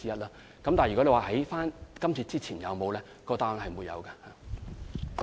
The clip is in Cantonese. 至於問及在今次之前有否先例，答案是沒有的。